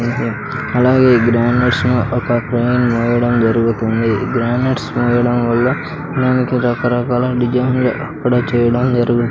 అలాగే ఈ గ్రౌండ్ నట్స్ను ఒక క్రేన్ మోయడం జరుగుతుంది ఈ గ్రౌండ్ నట్స్ మోయడం వల్ల దానికి రకరకాల డిజైన్లు అక్కడ చేయడం జరుగును.